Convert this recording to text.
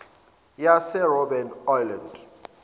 yase robben island